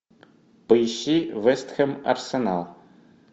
поищи вест хэм арсенал